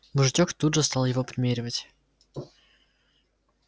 мужичок тут же стал его примеривать